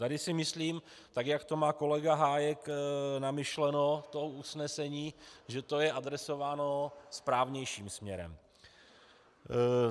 Tady si myslím, tak jak to má kolega Hájek namyšleno, to usnesení, že to je adresováno správnějším směrem.